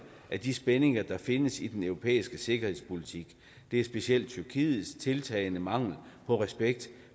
af de spændinger der findes i den europæiske sikkerhedspolitik det er specielt tyrkiets tiltagende mangel på respekt